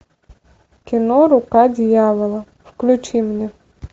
кино рука дьявола включи мне